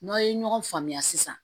N'aw ye ɲɔgɔn faamuya sisan